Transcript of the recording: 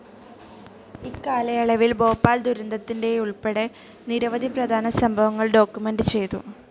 ഇക്കാലയളവിൽ ഭോപ്പാൽ ദുരന്തത്തിൻ്റേതുൾപ്പെടെ നിരവധി പ്രധാന സംഭവങ്ങൾ ഡോക്യുമെന്റ്‌ ചെയ്തു.